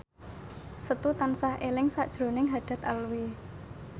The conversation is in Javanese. Setu tansah eling sakjroning Haddad Alwi